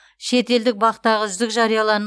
шетелдік бақ тағы үздік